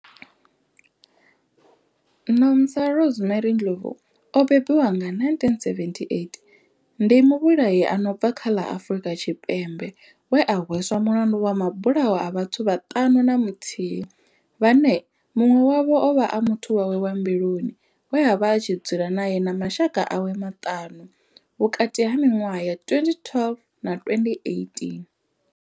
Nomsa Rosemary Ndlovu o bebiwaho nga 1978 ndi muvhulahi a no bva kha ḽa Afurika Tshipembe we a hweswa mulandu wa mabulayo a vhathu vhaṱanu na muthihi vhane munwe wavho ovha a muthu wawe wa mbiluni we avha a tshi dzula nae na mashaka awe maṱanu vhukati ha minwaha ya 2012 na 2018.